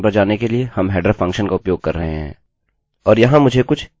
और यहाँ मुझे कुछ एचटीएमएल htmlकोड मिले हैं